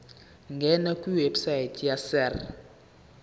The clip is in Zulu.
ngena kwiwebsite yesars